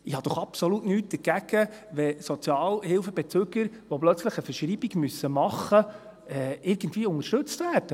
Ich habe doch absolut nichts dagegen, wenn Sozialhilfebezüger, die plötzlich eine Verschreibung machen müssen, irgendwie unterstützt werden.